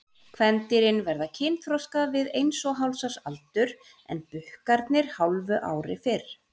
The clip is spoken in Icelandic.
Kvendýrin verða kynþroska við eins og hálfs árs aldur en bukkarnir hálfu ári fyrr.